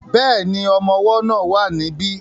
Bẹ́ẹ̀ni, ọmọ ọwọ́ náà wà ní bí